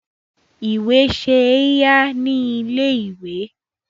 Ìwé ṣe é yá ní ilé-ìwé.